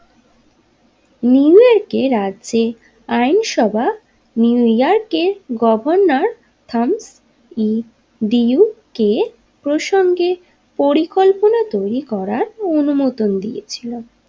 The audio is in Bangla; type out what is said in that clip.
নিউ ইয়র্কের রাজ্যে আইন সভা নিউ ইয়র্কের গভর্নর থাম নি দিয়া কের প্রসঙ্গে পরিকল্পনা তৈরী করার অনুমোদন দিয়েছিলো।